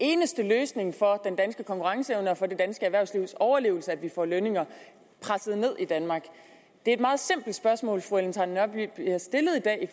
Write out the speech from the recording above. eneste løsning for den danske konkurrenceevne og for det danske erhvervslivs overlevelse at vi får lønninger presset ned i danmark det er et meget simpelt spørgsmål fru ellen trane nørby bliver stillet i dag